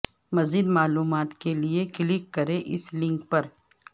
مزید معلومات کے لیے کلک کریں اس لنک پر